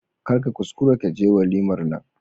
Kar ka kuskura ka je walimar nan.